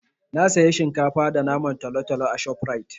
Na saya shinkafa da naman talotalo a ShopRite.